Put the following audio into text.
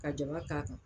Ka jaba k'a kan